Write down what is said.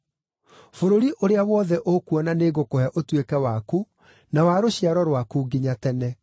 Bũrũri ũrĩa wothe ũkuona nĩngũkũhe ũtuĩke waku, na wa rũciaro rwaku nginya tene.